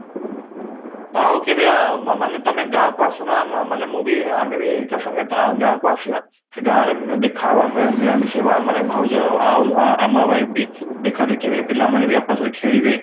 ଆଉ କେବେ ମାନେ ତମେ ଗାଁ କୁ ଆସୁନ ଆମେ ମାନେ ମୁଁ ବି ଆମେ ବି ସାଙ୍ଗରେ ଗାଁ କୁ ଆସିବା, ସେ ଗାଁ ରେ ଦେଖା ହବା, ମିଳାମିଶି ହବା ମାନେ ଭାଉଜ ଆଉ ଆଉ ଆମର wife ବି ଦେଖା ଦେଖି ହେବେ, ପିଲାମାନେ ବି ରେ ଖେଳିବେ